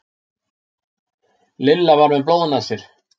Lilla var með blóðnasir